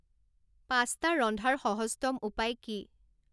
পাচ্টা ৰন্ধাৰ সহজতম উপায় কি